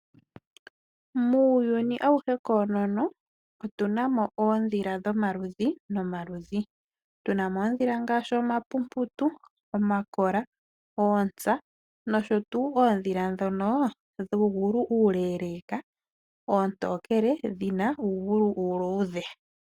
Muuyuni awuhe koonono otuna mo oondhila dho maludhi nomaludhi. Ngaashi omampumputu, omakola, oontsa, . Nosho woo oondhila ndhono dhuugulu uuleeleka. Oontokele dhina uugulu uuluudhe.